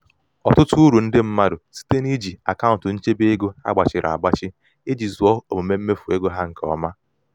ọtụtụ uru ndị mmadụ site n'iji akaụntụ nchebe ego a gbachịrị agbachị iji zụọ omume mmefu ego ha nke ha nke ọma.